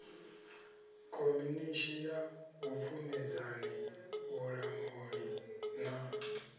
khomishini ya vhupfumedzani vhulamuli na